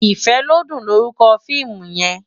Ifelodun lórúkò fiimú yèn